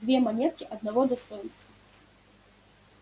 две монетки одного достоинства